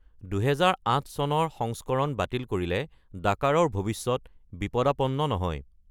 ২০০৮ চনৰ সংস্কৰণ বাতিল কৰিলে ডাকাৰৰ ভৱিষ্যত বিপদাপন্ন নহয়।